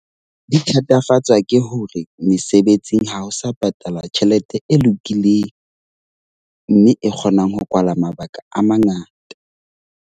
Di thatafatswa ke hore mesebetsing ha ho sa patalwa tjhelete e lokileng. Mme e kgonang ho kwala mabaka a mangata.